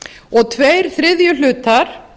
og tveir þriðju hlutar